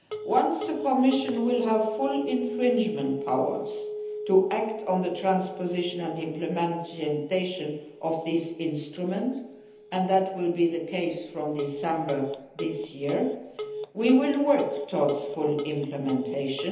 Once the Commission has full infringement powers to act on the transposition and implementation of these instruments and that will be the case from December this year we will work towards full implementation.